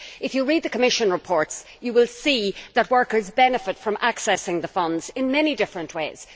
If you read the Commission reports you will see that workers benefit from accessing the funds in many different ways.